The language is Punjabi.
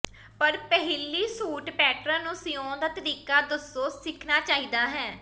ਪਰ ਪਹਿਲੀ ਸੂਟ ਪੈਟਰਨ ਨੂੰ ਸਿਉਣ ਦਾ ਤਰੀਕਾ ਦੱਸੋ ਸਿੱਖਣਾ ਚਾਹੀਦਾ ਹੈ